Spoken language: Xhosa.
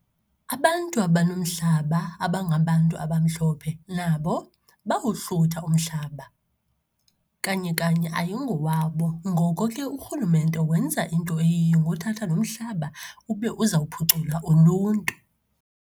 Abantu abanomhlaba, aba ngabantu abamhlophe nabo bawohlutha umhlaba. Kanye kanye ayingowabo. Ngoko ke, urhulumente wenza into eyiyo ngokuthatha lo mhlaba ube uza kuphucula uluntu.